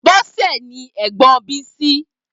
Bose ni ègbòn Bisi